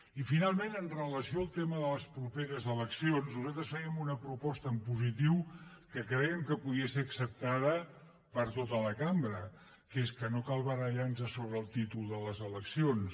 i finalment amb relació al tema de les properes eleccions nosaltres fèiem una proposta en positiu que crèiem que podia ser acceptada per tota la cambra que és que no cal barallar nos sobre el títol de les eleccions